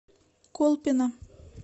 колпино